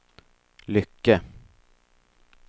Lycke